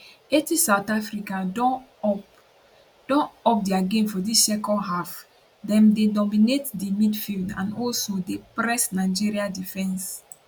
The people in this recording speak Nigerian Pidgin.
80 south africa don up don up dia game for dis second half dem dey dominate di midfield and also dey press nigeria defence